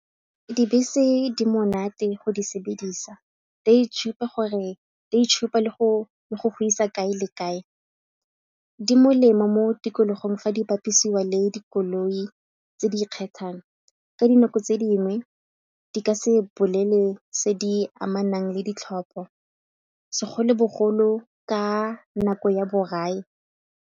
Dibese di monate go di sebedisa di a itshupa le go godisa kae le kae, di molemo mo tikologong fa di bapisiwa le dikolong tse di ikgethang. Ka dinako tse dingwe di ka se bolele tse di amanang le ditlhopha segolobogolo ka nako ya borai.